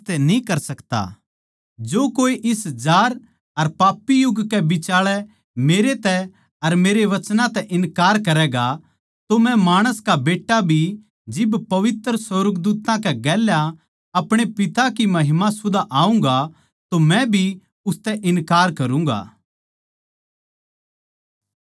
जो कोए इस जार अर पापी युग कै बिचाळै मेरै तै अर मेरे वचन तै इन्कार करैगा तो मै माणस का बेट्टा भी जिब पवित्र सुर्गदूत्तां कै गेल्या आपणे पिता की महिमा सुदा आऊँगा मै भी उसतै इन्कार करूँगा